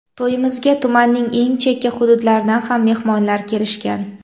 To‘yimizga tumanning eng chekka hududlaridan ham mehmonlar kelishgan.